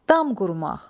Dam qurmaq.